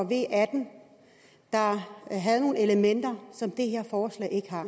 v atten der havde nogle elementer som det her forslag ikke har